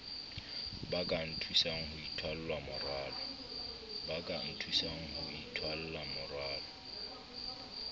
ba ka nthusang ho itholamorwalo